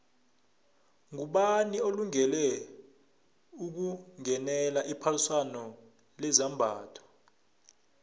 ngubani olungele ukungenela iphaliswano lezambatho